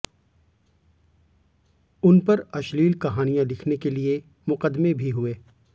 उनपर अश्लील कहानियाँ लिखने के लिए मुकदमे भी हुए